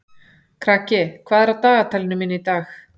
Kraki, hvað er á dagatalinu mínu í dag?